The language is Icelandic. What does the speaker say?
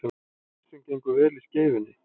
Hreinsun gengur vel í Skeifunni